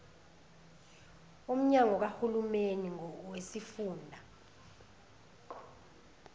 womnyango kahulumeni wesifunda